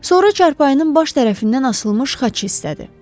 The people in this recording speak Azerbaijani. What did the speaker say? Sonra çarpayının baş tərəfindən asılmış xaç hissədir.